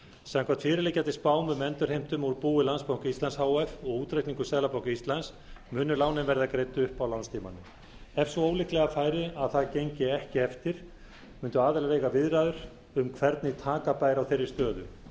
samkvæmt fyrirliggjandi spám um endurheimtur úr búi landsbanka íslands h f og útreikningum seðlabanka íslands munu lánin verða greidd upp á lánstímanum ef svo ólíklega færi að það gengi ekki eftir mundu aðilar eiga viðræður um hvernig taka bæri á þeirri stöðu